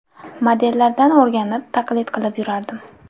Modellardan o‘rganib, taqlid qilib yurardim.